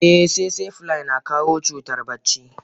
Eh tsetse fly na kawo cutar bacci.